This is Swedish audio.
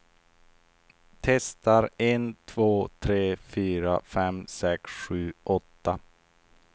Testar en två tre fyra fem sex sju åtta.